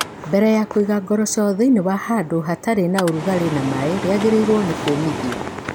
Mbere ya kũiga ngoroco thĩinĩ wa handũ hatarĩ na ũrugarĩ na maĩ, rĩagĩrĩirũo nĩ kũmithio.